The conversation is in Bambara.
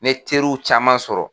N ye teriw caman sɔrɔ.